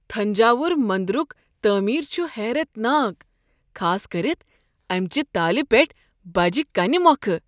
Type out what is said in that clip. تھنجاووُر مندرُک تعمیر چھ حیرت ناک، خاص كٔرِتھ امہ چہ تالہِ پیٹھ بجہ کنہ مۄکھٕ۔